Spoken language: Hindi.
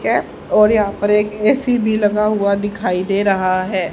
कैप और यहां पर एक ए_सी भी लगा हुआ दिखाई दे रहा है।